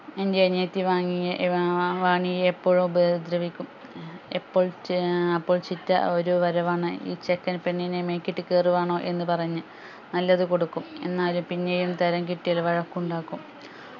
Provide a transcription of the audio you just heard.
എൻ്റെ അനിയത്തി വാങ്ങിയ ഏർ വാ വാണിയെ എപ്പോഴും ഉപദ്രവിക്കും എപ്പോൾ ഏർ അപ്പോൾ ചിറ്റ ഒരു വരവാണ് ഈ ചെക്കൻ പെണ്ണിനെ മെക്കിട്ടു കെറുവാണോ എന്ന് പറഞ്ഞ് നല്ലത് കൊടുക്കും എന്നാലും തരം കിട്ടിയാൽ വയക്ക് ഉണ്ടാകും